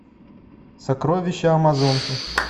сокровище амазонки